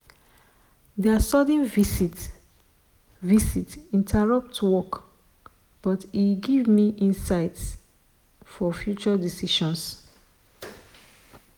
their sudden visit visit interrupt work but e give me insights for future decisions.